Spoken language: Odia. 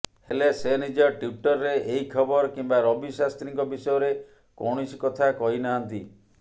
ହେଲେ ସେ ନିଜ ଟ୍ୱିଟ୍ରେ ଏହି ଖବର କିମ୍ବା ରବି ଶାସ୍ତ୍ରୀଙ୍କ ବିଷୟରେ କୌଣସି କଥା କହିନାହାନ୍ତି